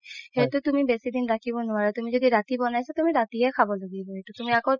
সেইটো তুমি বেচি দিন ৰাখিব নোৱাৰা তুমি যদি ৰাতি বনাইছা ৰাতিয়ে খাব লাগিব এইটো তুমি আকৌ